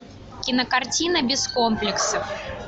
кинокартина без комплексов